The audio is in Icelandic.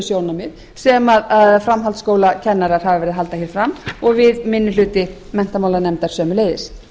sjónarmið sem framhaldsskólakennarar hafa verið að halda hér fram og við minni hluti menntamálanefndar sömuleiðis